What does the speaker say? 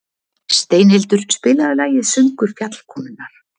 Steinhildur, spilaðu lagið „Söngur fjallkonunnar“.